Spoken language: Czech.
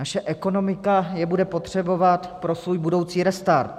Naše ekonomika je bude potřebovat pro svůj budoucí restart.